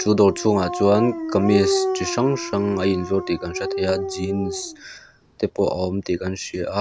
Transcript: u dawr chhung ah chuan kamis chi hrang hrang a in zuar tih ka hre thei a jeans te pawh a awm tih kan hria a.